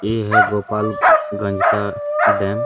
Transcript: ये हैं गोपाल गंज का डैम --